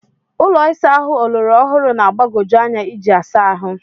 Ụlọ ịsa ahụ ọlọrọ ọhụrụ na-agbagoju anya iji asa ahụ.